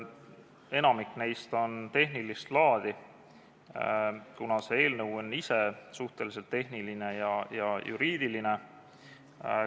Enamik neist on tehnilist laadi, kuna see eelnõu on ise suhteliselt tehniline ja juriidiline.